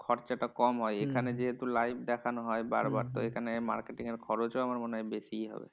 খরচাটা কম হয় এখানে যেহেতু live দেখানো হয় বারবার তো এখানে marketing এর খরচও আমার মনে হয় বেশিই হবে।